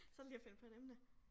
Så det lige at finde på et emne